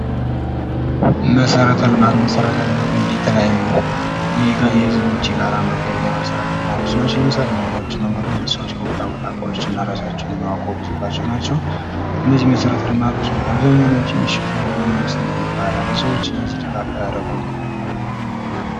መሰረተ ልማት፤ መሰረት ልማት እንግዲህ የተለያዩ የህዝቦች የጋራ መገልገያ መሰረተ ልማቶች ናቸው። ለምሳሌ:-መንገዶች፤ መንገዶች ስዎች ከቦታ ቦታ እቃዎችና እራሳቸውን የሚያጓጉዞባቸው ናቸው። እነዚህ መሰረት ልማቶች እንግዲ አብዛኛውን ወጭ የሚሸፍኑት በመንግስትነው ይባላል ህዝቦች ለዚህ ድጋፍ አያደርጉም ወይ?